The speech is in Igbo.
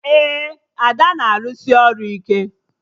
Ee, Ada na-arụsị ọrụ ike